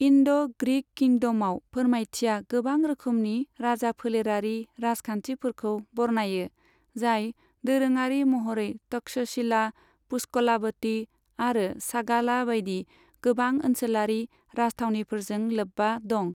इन्ड' ग्रिक किंडमआव फोरमायथिआ गोबां रोखोमनि राजाफोलेरारि राजखान्थिफोरखौ बरनायो, जाय दोरोङारि महरै तक्षशिला, पुष्कलाबती आरो सागाला बायदि गोबां ओनसोलारि राजथावनिफोरजों लोब्बा दं।